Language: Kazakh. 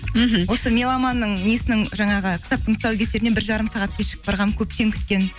мхм осы меломанның несінің жаңағы кітаптың тұсаукесеріне бір жарым сағат кешігіп барғанмын көптен күткен